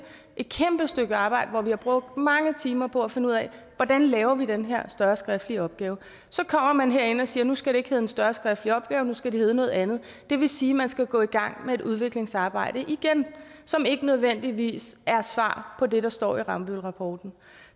et kæmpe stykke arbejde hvor vi har brugt mange timer på at finde ud af hvordan vi laver den her større skriftlige opgave så kommer man herindefra og siger at nu skal det ikke hedde en større skriftlig opgaver nu skal det hedde noget andet det vil sige at man skal gå i gang med et udviklingsarbejde igen som ikke nødvendigvis er svar på det der står i rambøllrapporten